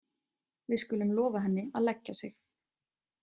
Við skulum lofa henni að leggja sig.